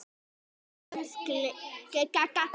Guð geymi þig, þín, Ásdís.